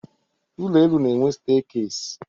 Ụlọenu na-enwe steekesi.